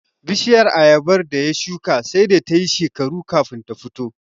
Bishiyar Ayabar da ya shuka sai da tayi shekaru kafin ta fito